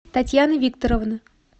татьяны викторовны